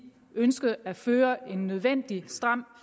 ønskede at føre en nødvendig stram